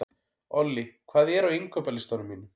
Olli, hvað er á innkaupalistanum mínum?